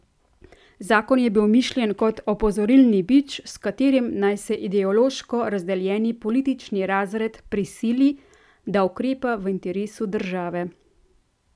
Zakon je bil mišljen kot opozorilni bič, s katerim naj se ideološko razdeljeni politični razred prisili, da ukrepa v interesu države.